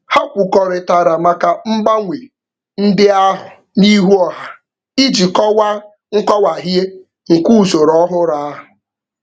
Ha kwukọrịtara maka mgbanwe ndị ahụ n'ihu ọha iji kọwaa nkọwahie nke usoro ọhụrụ ahụ.